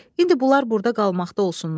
İndi bunlar burda qalmaqda olsunlar.